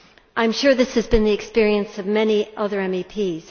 I am sure this has been the experience of many other MEPs.